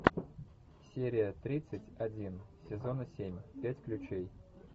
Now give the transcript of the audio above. серия тридцать один сезона семь пять ключей